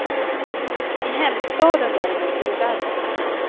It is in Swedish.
I hemstaden däremot är det värre.